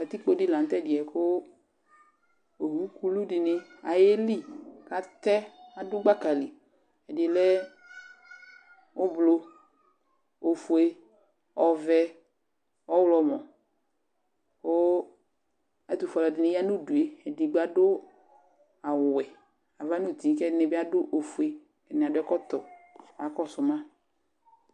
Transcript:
Katɩkpo dɩ laŋʊtɛdɩ ƴɛ Owʊ ƙʊlʊ diŋi aƴelɩ, atɛ adʊ gbaka lɩ Ɛdɩ lɛ ʊɓlɔɔ, ofʊe, ɔʋɛ, ɔwlɔmɔ kʊ ɛtʊfʊe alʊ ɛdinibya ŋʊdʊe Edigbo adʊ awʊ wɛ ava ŋʊtɩ kɛdibɩ adʊ ofʊe, ɛdinɩ adʊbɛkɔtɔ kaka kɔsʊ ma